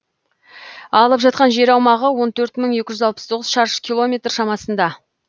алып жатқан жер аумағы он төрт мың екі жүз алпыс тоғыз шаршы километр шамасында